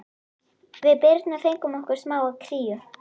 Við Birna fengum okkur smá kríu.